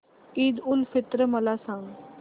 ईद उल फित्र मला सांग